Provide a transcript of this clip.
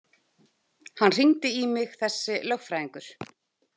Hann hringdi í mig, þessi lögfræðingur.